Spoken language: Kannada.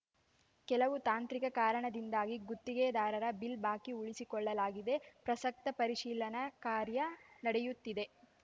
ಕೆಲವು ತಾಂತ್ರಿಕ ಕಾರಣದಿಂದಾಗಿ ಗುತ್ತಿಗೆದಾರರ ಬಿಲ್‌ ಬಾಕಿ ಉಳಿಸಿಕೊಳ್ಳಲಾಗಿದೆ ಪ್ರಸಕ್ತ ಪರಿಶೀಲನಾ ಕಾರ್ಯ ನಡೆಯುತ್ತಿದೆ